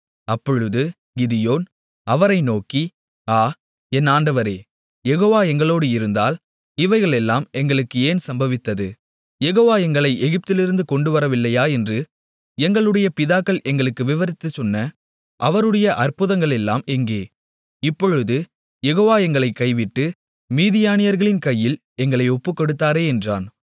அப்பொழுது கிதியோன் அவரை நோக்கி ஆ என் ஆண்டவரே யெகோவா எங்களோடு இருந்தால் இவைகளெல்லாம் எங்களுக்கு ஏன் சம்பவித்தது யெகோவா எங்களை எகிப்திலிருந்து கொண்டுவரவில்லையா என்று எங்களுடைய பிதாக்கள் எங்களுக்கு விவரித்துச்சொன்ன அவருடைய அற்புதங்களெல்லாம் எங்கே இப்பொழுது யெகோவா எங்களைக் கைவிட்டு மீதியானியர்களின் கையில் எங்களை ஒப்புக்கொடுத்தாரே என்றான்